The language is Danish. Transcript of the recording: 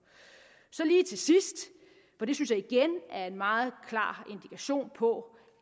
lige til sidst og det synes jeg igen er en meget klar indikation på